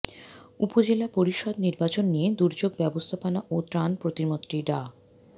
উপজেলা পরিষদ নির্বাচন নিয়ে দুর্যোগ ব্যবস্থাপনা ও ত্রাণ প্রতিমন্ত্রী ডা